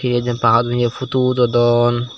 hi jenpai hajaney pudu udodon.